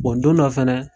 don dɔ fɛnɛ